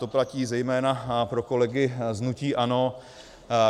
To platí zejména pro kolegy z hnutí ANO.